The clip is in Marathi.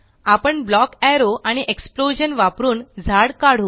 आपण ब्लॉक एरो आणि एक्सप्लोजन वापरून झाड काढू